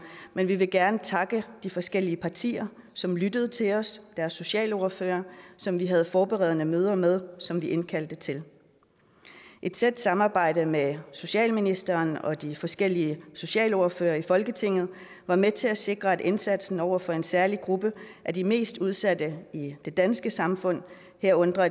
men vi vil gerne takke de forskellige partier som lyttede til os og deres socialordførere som vi havde forberedende møder med som vi indkaldte til et tæt samarbejde med socialministeren og de forskellige socialordførere i folketinget var med til at sikre at indsatsen over for en særlig gruppe af de mest udsatte i det danske samfund herunder